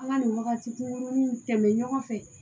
An ka nin wagati kunkurunnin tɛmɛn ɲɔgɔn fɛ